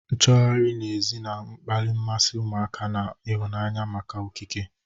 Nchọgharị n'èzí na-akpali mmasị ụmụaka na ịhụnanya maka okike,